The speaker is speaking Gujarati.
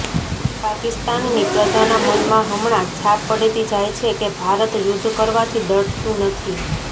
પાકિસ્તાનની પ્રજાના મનમાં હમણા છાપ પડતી જાય છે કે ભારત યુધ્ધ કરવાથી ડરતું નથી